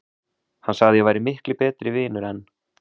Hann sagði að ég væri miklu betri vinur en